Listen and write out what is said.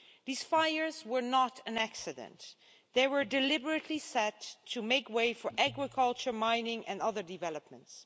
These fires were not an accident they were deliberately set to make way for agriculture, mining, and other developments.